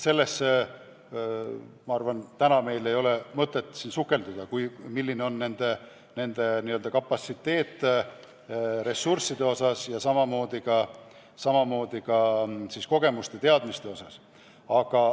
Sellesse, ma arvan, ei ole täna mõtet sukelduda, milline on nende n-ö ressursside kapatsiteet ja samamoodi ka kogemuste ja teadmiste kapatsiteet.